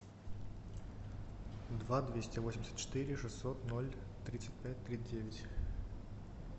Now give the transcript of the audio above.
два двести восемьдесят четыре шестьсот ноль тридцать пять три девять